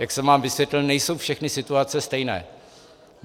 Jak jsem vám vysvětlil, nejsou všechny situace stejné.